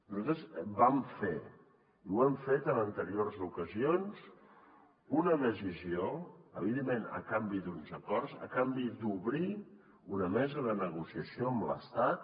nosaltres vam fer i ho hem fet en anteriors ocasions una decisió evidentment a canvi d’uns acords a canvi d’obrir una mesa de negociació amb l’estat